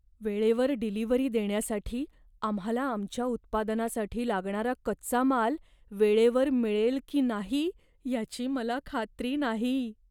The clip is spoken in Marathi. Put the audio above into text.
वेळेवर डिलिव्हरी देण्यासाठी आम्हाला आमच्या उत्पादनासाठी लागणारा कच्चा माल वेळेवर मिळेल की नाही याची मला खात्री नाही.